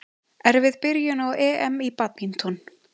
Erfið byrjun á EM í badminton